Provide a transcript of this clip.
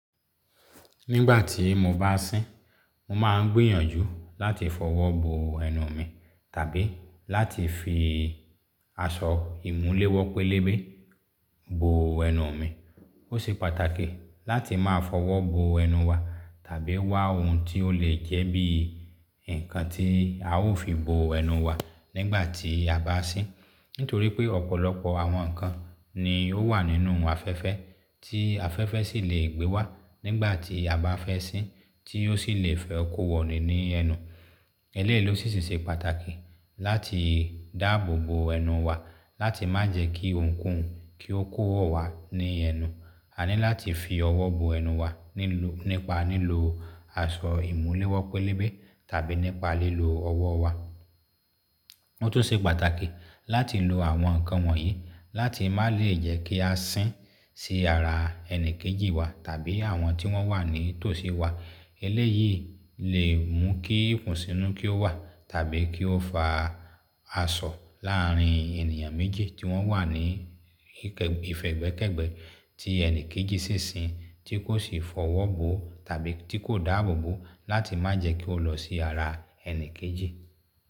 Nígbà tí mo bá sín, mo máa ń gbìyànjú láti fọwọ́ bo ẹnu mi tàbí láti fi aṣọ ìmúléwọ́ pélébé bo ẹnu mi. Ó ṣe pàtàkì láti máa fọwọ́ bo ẹnu wa tàbí wá ohun tí ó lè jẹ́ bí i ǹkan tí a ó fi bo ẹnu wa nígbà tí a bá sín. Nítorí pé ọ̀pọ̀lọpọ̀ àwọn ǹkan ni ó wà nínú afẹ́fẹ́ tí afẹ́fẹ́ sì lè gbé wá nígbà tí a bá fẹ sín tí ó sì lè fẹ́ kó wọ̀ni ni enu. Eléyìí ló sì ṣe pàtàkì láti dáàbò bo ẹnu wa láti má jẹ́ kí ohunkóhun kí ó kó wọ̀ wá ní ẹnu. A ní láti fi ọwọ́ bo ẹnu wa nípa lílo aṣọ ìmúléwọ́ pélébé tàbí nípa lílo ọwọ́ wa. Ó tún ṣe pàtàkì láti lo àwọn ǹkan wọ̀nyí láti má lè jẹ́ kí a sín sí ara ẹni kejì wa tàbí àwọn tí wọ́n wà ní tòsí wa. Eléyìí lè mú kí ikùnsínú kí ó wà tàbí kí ó fa asọ láàárín ènìyàn méjì tí wọ́n wà ní ìfẹ́gbẹ́kẹ̀gbẹ́ tí ẹni kejì sì ń sín tí kò sì fọwọ́ bo tàbí tí kò dáàbò bo láti má jẹ́ kí ó lọ sí ara ẹni kejì.